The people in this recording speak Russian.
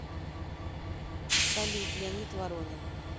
салют леонид воронин